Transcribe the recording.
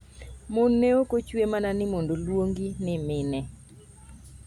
"Mon ne ok ochwe mana mondo oluongi ni mine.